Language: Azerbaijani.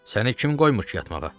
Səni kim qoymur ki, yatmağa?